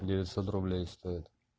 девятьсот рублей стоит